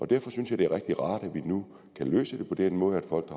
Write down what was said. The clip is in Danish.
derfor synes jeg det er rigtig rart at vi nu kan løse det på den måde at folk